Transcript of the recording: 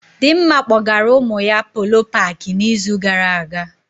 Dịmma kpọgara ụmụ ya Polo paakị na izu gara aga